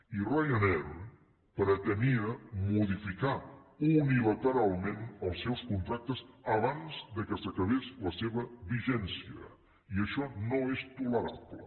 i ryanair pretenia modificar unilateralment els seus contractes abans que s’acabés la seva vigència i això no és tolerable